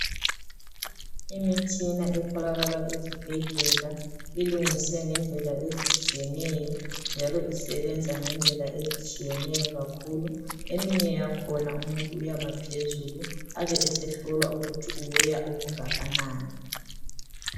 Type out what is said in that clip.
imitshina etholakala ezibhedlela ilungiswe ngendlela ezitshiyeneyo njalo isebenza ngendlela ezitshiyeneyo kakhulu eminye yakhona umunntu uyama phezulu abesehlolwa ukuthi u weya okangakanani